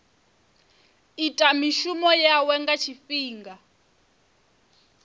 ita mishumo yawe nga tshifhinga